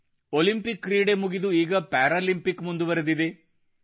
Olympic ಕ್ರೀಡೆ ಮುಗಿದು ಈಗ ಪ್ಯಾರಾಲಿಂಪಿಕ್ ಮುಂದುವರಿದಿದೆ